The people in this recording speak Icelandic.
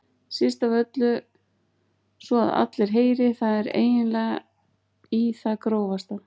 Síst af öllu svo að allir heyri, það er eiginlega í það grófasta.